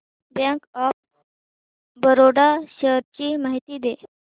bank of Baroda shares ची माहिती दे